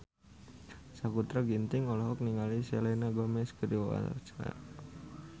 Sakutra Ginting olohok ningali Selena Gomez keur diwawancara